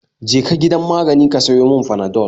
Je ka gidan magani ka sayo mun panadol